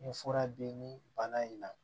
N ye fura di bana in na